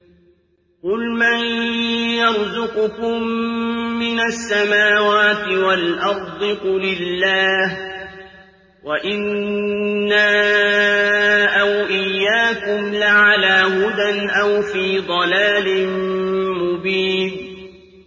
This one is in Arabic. ۞ قُلْ مَن يَرْزُقُكُم مِّنَ السَّمَاوَاتِ وَالْأَرْضِ ۖ قُلِ اللَّهُ ۖ وَإِنَّا أَوْ إِيَّاكُمْ لَعَلَىٰ هُدًى أَوْ فِي ضَلَالٍ مُّبِينٍ